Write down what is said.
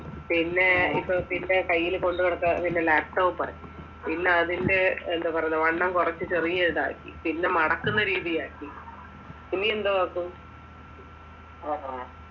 പിന്നെ ഇപ്പൊ പിന്നെ കയ്യിൽ കൊണ്ട് നടക്കുന്ന ലാപ്ടോപ്പ് ആയി പിന്നെ അതിന്റെ എന്താ പറയുക വണ്ണം കുറിച്ചിട്ടു ചെറിയ ഇതാക്കി പിന്നെ മടക്കുന്ന രീതിയാക്കി